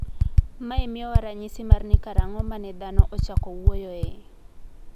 Mae miyowa ranyisi mar ni karang`o ma ne dhano ochako wuoyoe.